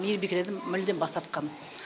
мейірбикелерден мүлдем бас тартқан